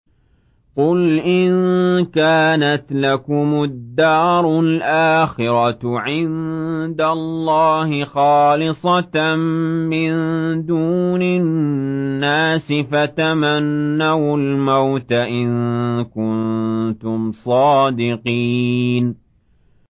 قُلْ إِن كَانَتْ لَكُمُ الدَّارُ الْآخِرَةُ عِندَ اللَّهِ خَالِصَةً مِّن دُونِ النَّاسِ فَتَمَنَّوُا الْمَوْتَ إِن كُنتُمْ صَادِقِينَ